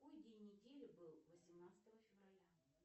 какой день недели был восемнадцатого февраля